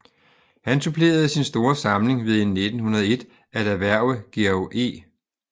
Han supplerede sin store samling ved i 1901 at erhverve Georg E